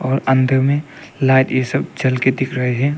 और अंदर में लाइट ये सब जल के दिख रहे हैं।